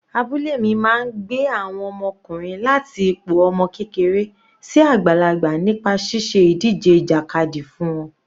Abúlé mi máa gbé àwọn ọmọkùnrin láti ipò ọmọ kékeré sí àgbàlagbà nípa ṣíṣe ìdíje ìjàkadì fún wọn.